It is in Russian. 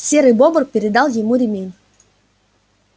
серый бобр передал ему ремень